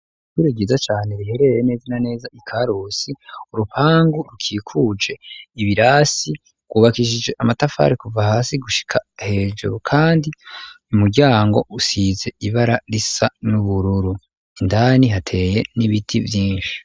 Ishure ryiza cane rihereye neza na neza ikarusi ,urupangu rukikuje ibirasi ryubakishije amatafari kuva hasi gushika hejuru ,kandi umuryango usize ibara risa n'ubururu ,indani hateye n'ibiti vyinshi.